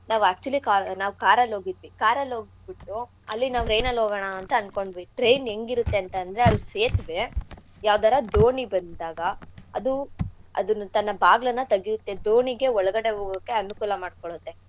ನಾವ್ actually car ನಾವ್ car ಅಲ್ಲಿ ಹೋಗಿದ್ವಿ car ಅಲ್ ಹೋಗ್ಬಿಟ್ಟು ಅಲ್ಲಿ ನಾವ್ train ಅಲ್ ಹೋಗಣ ಅಂತ ಅನ್ಕೊಂಡ್ವಿ train ಹೆಂಗಿರತ್ತೆ ಅಂತಂದ್ರೆ ಅಲ್ಲಿ ಸೇತುವೇ ಯಾವ್ದಾರಾ ದೋಣಿ ಬಂದಾಗ ಅದು ಅದನ್ನ ತನ್ನ ಬಾಗ್ಲನ್ನಾ ತಗ್ಯುತ್ತೆ ದೋಣಿಗೆ ಒಳಗಡೆ ಹೋಗಕ್ಕೆ ಅನುಕೂಲ ಮಾಡ್ಕೊಡತ್ತೆ.